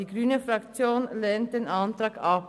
Die grüne Fraktion lehnt den Antrag ab.